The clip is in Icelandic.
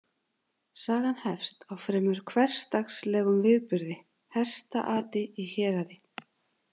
Sagan hefst á fremur hversdagslegum viðburði, hestaati í héraði.